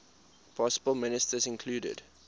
possible ministers included